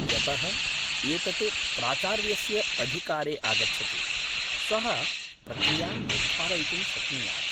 यतः एतत् प्राचार्यस्य अधिकारे आगच्छति, सः प्रक्रियां निर्धारयितुं शक्नुयात् ।